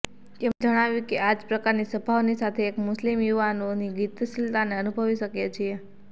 તેમણે જણાવ્યું કે આ જ પ્રકારની સભાઓની સાથે એક મુસ્લિમ યુવાઓની ગતિશીલતાને અનુભવી શકીએ છીએ